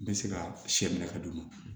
N bɛ se ka sɛ minɛ ka d'u ma